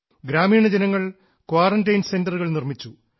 ഗ്രാമീണ ജനങ്ങൾ ക്വാറൻറൈൻ സെൻററുകൾ നിർമ്മിച്ചു